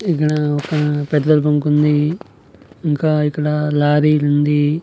ఇక్కడా ఒక petrol bunk ఉంది ఇంకా ఇక్కడ లారీ ఉంది.